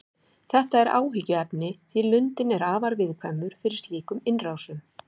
Þetta er áhyggjuefni því lundinn er afar viðkvæmur fyrir slíkum innrásum.